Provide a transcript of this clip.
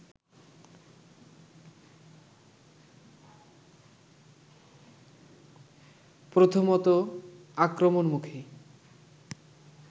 প্রথমত আক্রমণমুখী